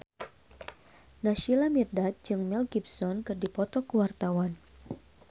Naysila Mirdad jeung Mel Gibson keur dipoto ku wartawan